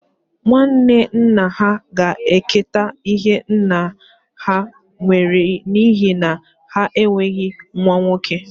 Nwanne nna ha ga-eketa ihe nna ha nwere n'ihi na ha enweghị nwa nwoke